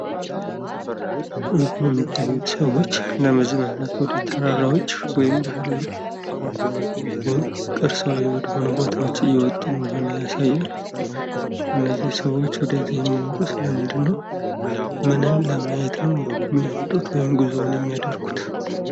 በምስሉ ላይ የሚታዩት ሰዎች ለመዝናናት ወደ ተራራዎች ወይም ቅርሳዊ ወደ ሆኑ ቦታዎች እየወጡ እንደሆነ ያሳያል። እነዚህ ሰዎች ለምንድነው ሚወጡት? ምንን ለማየት ነው ሚወጡት ወይም ጉዞውን የሚያደርጉት?